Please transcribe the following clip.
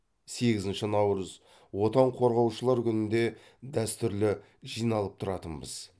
сегізінші наурыз отан қорғаушылар күнінде дәстүрлі жиналып тұратынбыз